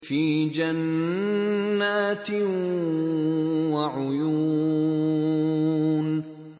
فِي جَنَّاتٍ وَعُيُونٍ